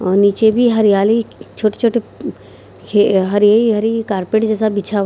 और नीचे भी हरियाली छोटी-छोटी ये हरी-हरी कारपेट जैस बिछा हुआ --